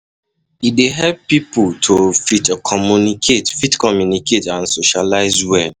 e dey help pipo to um fit communicate um fit communicate and um socialize well